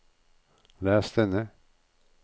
les denne